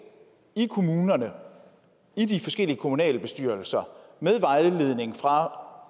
i kommunerne i de forskellige kommunalbestyrelser med vejledning fra